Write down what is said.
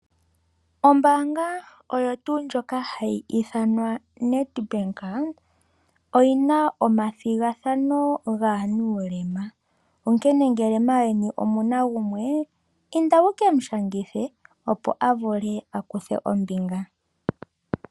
Ombaanga oyo tuu ndjoka hayi ithanwa Nedbank , oyina omathigathano gaanuulema. Onkene ngele maayeni ngele omuna gumwe inda wu ke mu shangithe opo a vule a kuthe ombinga.